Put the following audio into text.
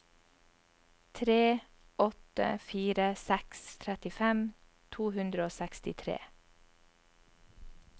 tre åtte fire seks trettifem to hundre og sekstitre